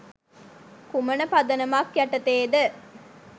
කුමන පදනමක් යටතේද?